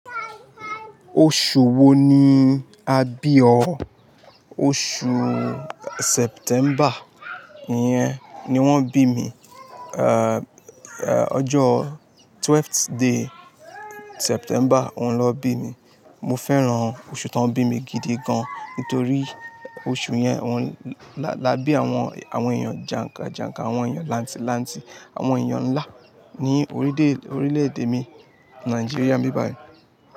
Oṣù wo ni a bí ọ? Oṣù September iyẹn ni wọ́n bí mi, uh, uh ọjọ twelfth day September oun lọ bí mi. Mo fẹ́ràn oṣù tá ń bí mi gidi gan nítorí oṣù yẹn wọn-- la bí àwọn, àwọn èèyàn jànkà jànkà, àwọn èèyàn láǹtì láǹtì, àwọn èèyàn ńlá ní orílè, orílè èdè mi Nigeria n bíbà yìí.